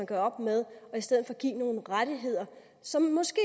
gøre op med og i stedet for give nogle rettigheder som måske